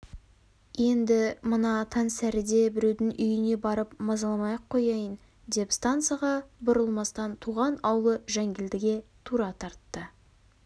енді мына таңсәріде біреудің үйіне барып мазаламай-ақ қояйын деп станцияға бұрылмастан туған аулы жангелдіге тура тартты